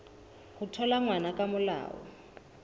ho thola ngwana ka molao